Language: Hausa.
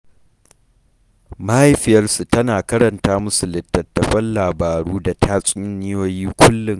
Mahaifiyarsu tana karanta musu littattafan labaru da hikayoyi da tatsuniyoyi kullum.